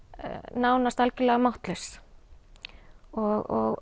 nánast algjörlega máttlaus og